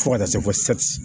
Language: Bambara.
Fo ka taa se fɔ